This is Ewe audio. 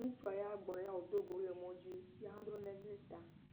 Ŋutsua ya gbɔ ye wòdogo wo le mɔdzi. Ya ha dro nae ɖe ta